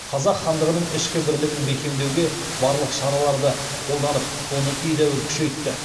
қазақ хандығының ішкі бірлігін бекемдеуге барлық шараларды қолданып оны едәуір күшейтті